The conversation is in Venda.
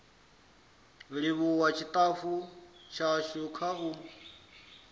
livhuwa tshitafu tshashu kha u